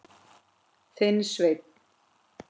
Þinn, Sveinn.